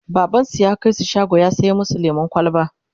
babansu ya kaisu shago ya saya masu lemun kwalba